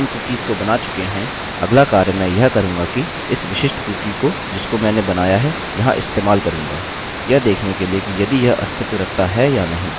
अतः यह मानते हुए कि हम इन कुकीसcookies को बना चुके हैं अगला कार्य मैं यह करूँगा कि इस विशिष्ट कुकीcookie को जिसको मैंने बनाया है यहाँ इस्तेमाल करूँगा यह देखने के लिए कि यदि यह अस्तित्व रखता है या नहीं